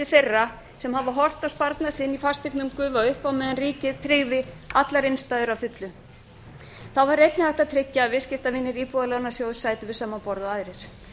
þeirra sem hafa horft á sparnað sinn í fasteignum gufa upp á meðan ríkið tryggði allar innstæður að fullu þá var einnig hægt að tryggja að viðskiptavinir íbúðalánasjóðs sætu við sama borð og aðrir